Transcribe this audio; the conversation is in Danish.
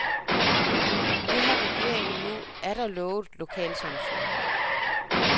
Det har regeringen nu atter lovet lokalsamfundet.